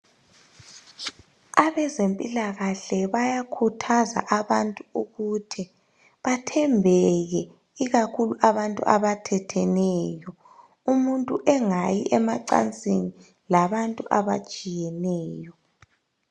Abezempilakahle bayakhuthaza abantu ukuthi bathembeke ikakhulu abantu abathetheneyo umuntu engayi emacansini labantu abatshiyeneyo.